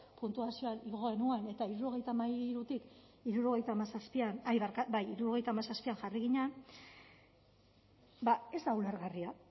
puntuazioa igo genuen eta hirurogeita hamairutik hirurogeita hamazazpian jarri ginen ba ez da ulergarria